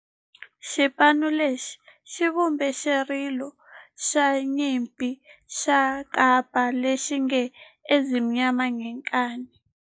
Xipano lexi xi vumbe xirilo xa nyimpi xa kampa lexi nge 'Ezimnyama Ngenkani'.